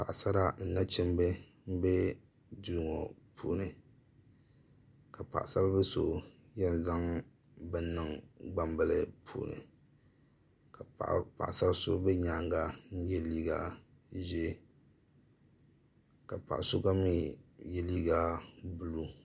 paɣisara ni nachimba m-be duu ŋɔ puuni ka paɣisaribil' so yɛn zaŋ bini niŋ gbambila puuni ka paɣisar' so be nyaaŋga n-ye liiga ʒee ka paɣa so gba mi ye liiga buluu